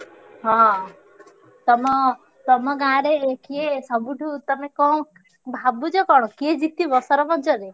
ହଁ ତମ, ତମ ଗାଁ ରେ କିଏ ସବୁଠୁ ତମେ କଣ ଭାବୁଛ କଣ କିଏ ଜିତିବ ସରପଞ୍ଚ ରେ?